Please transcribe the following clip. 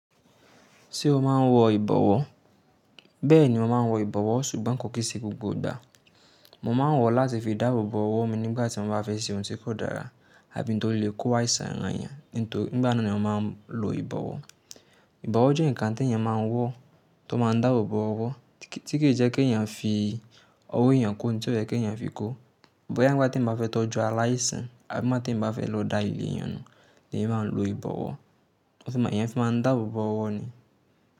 Ṣé o máa n wọ ìbọwọ́? Bẹ́ẹ̀ni, mo ma n wọ ìbọwọ́ sùgbọ́n kò kí sì gbogbo ìgbà. Mo ma n wọ̀ láti fi dáàbò bo ọwọ́ mi nígbàtí mo bá fẹ́ ṣe ohun tí kò dára àbí tí ó lè kó wa ìṣàìàn yàn. Nítorí nígbà náà ni a má n lo ìbọwọ́. Ìbọwọ́ jẹ́ nǹkan tí èèyàn má n wọ́ tó ma n dáàbò bo ọwọ́ tí kì í jẹ́ kí èèyàn fi ọwọ́ èèyàn kó ohun tí ó fẹ́ kí èèyàn fi kó. Ìbọ̀ yìí há bí mo bá tí n bá fẹ́ tọ́jú aláìsàn àbí mo bá tí n bá fẹ́ lo dai ìlẹ̀ èèyàn náà ni èmi má n lo ìbọwọ́, ó sì máa ń dààbò bo ọwọ́ ni.